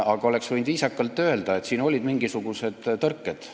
Aga oleks võinud viisakalt öelda, et olid mingisugused tõrked.